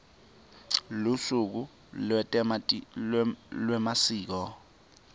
lusuku lwetemasiko